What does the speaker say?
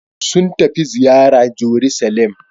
Sun tafi ziyara Jeruselem.